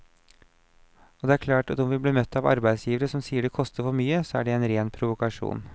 Og det er klart at om vi blir møtt av arbeidsgivere som sier det koster for mye, så er det en ren provokasjon.